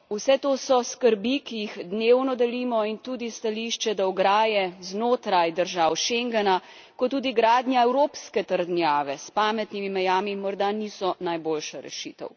Vse to so skrbi, ki jih dnevno delimo, in tudi stališče, da ograje znotraj držav Schengena kot tudi gradnja evropske trdnjave s pametnimi mejami morda niso najboljša rešitev.